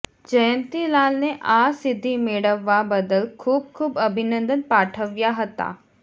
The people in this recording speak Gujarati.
જયંતીલાલને આ સિદ્ધિ મેળવવા બદલ ખૂબ ખૂબ અભિનંદન પાઠવ્યા હતા